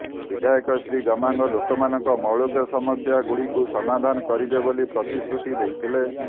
ବିଧାୟକ ଶ୍ରୀ ଗମାଙ୍ଗ ଲୋକମାନଙ୍କ ମୌଳିକ ସମସ୍ୟା ଗୁଡିକୁ ସମାଧାନ କରିବେ ବୋଲି ପ୍ରତିଶ୍ରୁତି ଦେଇଥିଲେ